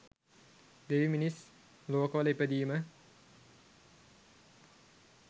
දෙවි, මිනිස් ලෝකවල ඉපදීම